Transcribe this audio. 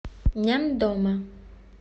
няндома